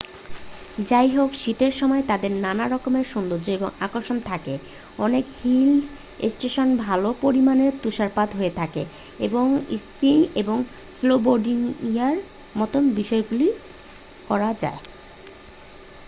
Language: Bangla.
যাইহোক শীতের সময় তাদের নানা রকমের সৌন্দর্য এবং আকর্ষণ থাকে অনেক হিল স্টেশনে ভালো পরিমাণে তুষারপাত হয়ে থাকে এবং স্কিইং এবং স্নোবোর্ডিংয়ের মতো বিষয়গুলি করা যায়